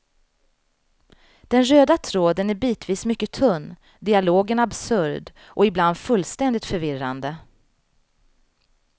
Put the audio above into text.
Den röda tråden är bitvis mycket tunn, dialogen absurd och ibland fullständigt förvirrande.